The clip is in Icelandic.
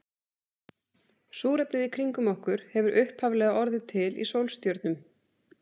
Súrefnið í kringum okkur hefur upphaflega orðið til í sólstjörnum.